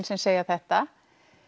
sem segja þetta